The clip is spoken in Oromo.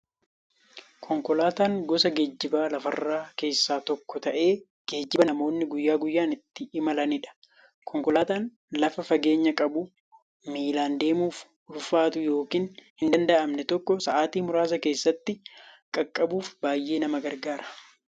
Konkolaataan gosa geejjiba lafarraa keessaa tokko ta'ee, geejjiba namoonni guyyaa guyyaan ittiin imalaniidha. Konkolaataan lafa fageenya qabu, miillan deemuuf ulfaatu yookiin hindanda'amne tokko sa'aatii muraasa keessatti qaqqabuuf baay'ee nama gargaara.